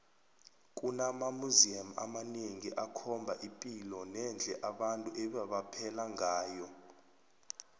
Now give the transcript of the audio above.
kunama museum amanengi akhomba ipilo nendle abantu ebebaphela ngayo